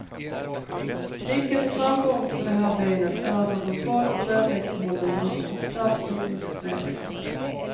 Nyckeln till framgång på det här benet är att ha kontroll på väderleksförhållandena och snabbt utnyttja förändringar.